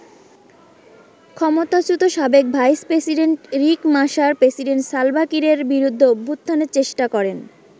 ক্ষমতাচ্যুত সাবেক vice president Riek Machar, president Salva কিরের বিরুদ্ধে অভ্যুত্থানের চেষ্টা করেন।